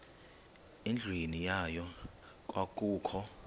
endlwini yayo kwakukho